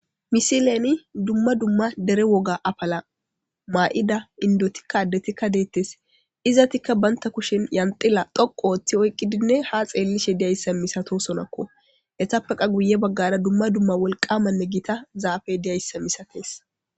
Misileni dumma dumma dere woga apala maa7ida indotikka addetikka deettes izatikka baynta kushen yanxila dhoqo ooththi oyqqidinne ha xeellishe diyayssa misato sonakko hetappeqa guye baggara dumma dumma wolqamanne giita zaafe diyayssa misatees.